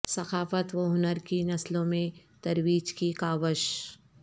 ثقافت و ہنر کی نسلوں میں ترویج کی کاوش